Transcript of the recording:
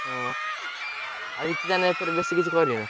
ହଁ ଆଉ କିଛି ତାହେନେ ଏଇଥର ବେଶୀ କିଛି କରିବ?